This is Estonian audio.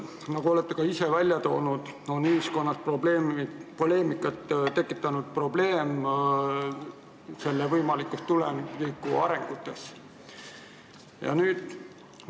Nagu te olete ka ise välja toonud, on ühiskonnas poleemikat tekitanud selle võimalike tulevikuarengute probleem.